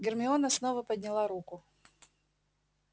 гермиона снова подняла руку